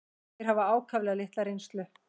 Þeir hafa ákaflega litla reynslu.